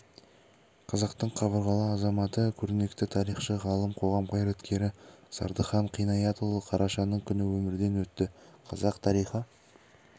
қазақтың қабырғалы азаматы көрнекті тарихшы ғалым қоғам қайраткері зардыхан қинаятұлы қарашаның күні өмірден өтті қазақ тарихы